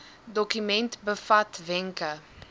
dokument bevat wenke